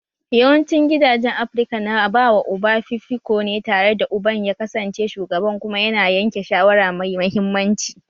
Yawancin gidajen Afirka na bawa uba fifiko ne tare da uban ya kasance shugaban kuma yana yanke shawara mai mahimmanci